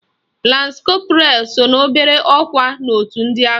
Lans Kọpụral so n'obere ọkwa n'otu ndị agha